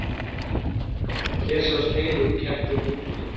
hér sjást heili úr ketti og hundi